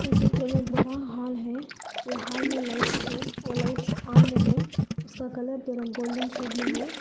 ये चित्र में बड़ा हाल है ये हाल में लाइट्स है वो लाइट्स ऑन में है उसका कलर थोड़ा गोल्डन शेड में है।